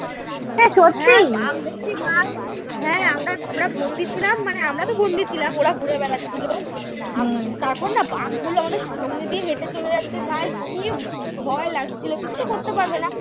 হ্যাঁ বাঘ দেখছি হ্যাঁ আমরা আমরা বন্দি ছিলাম মানে আমরা তো বন্দি ছিলাম ওরা ঘুরে বেড়াচ্ছিল তারপর না বাঘ গুলো আমাদের সামনে দিয়ে হেঁটে চলে যাচ্ছে ভাই কী ভয় লাগছিল কিছু তো করতে পারবে না।